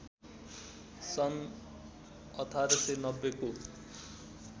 सन् १८९० को